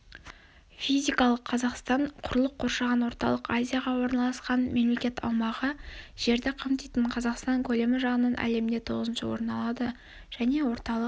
физикалық қазақстан құрлық қоршаған орталық азияға орналасқан мемлекет аумағы жерді қамтитын қазақстан көлемі жағынан әлемде тоғызыншы орын алады және орталық